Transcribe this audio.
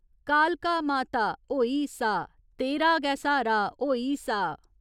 कालका माता, होई सा तेरा गै स्हारा, होई सा।